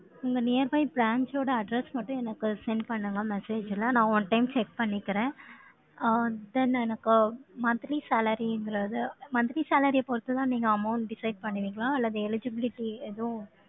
உங்க nearby branch ஓட address மட்டும், எனக்கு send பண்ணுங்க, message ல. நான் one time check பண்ணிக்கிறேன். அஹ் then எனக்கு monthly salary ங்கிறது monthly salary ஐ பொறுத்துதான், நீங்க amount decide பண்ணுவீங்களா? அல்லது eligibility எதுவும்,